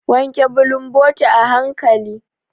Wanke bulumboti a hanƙali.